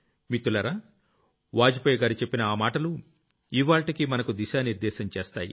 మిత్రులారా వాజ్ పేయిగారు చెప్పిన ఆ మాటలు ఇవ్వాళ్టికీ మనకు దిశా నిర్దేశం చేస్తాయి